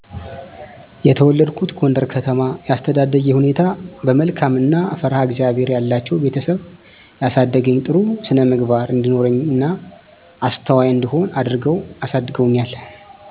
የተወለድኩት ጎንደር ከተማ የአስተዳደጌ ሁኔታ በመልካም እና ፈርሃ እግዚአብሔር ያላቸዉ ቤተሰብ ያሳደገኝ ጥሩ ስነምግባር እንዲኖረኝ እና አስተዋይ እንድሆን አድርገዉ አሳድገዉኛ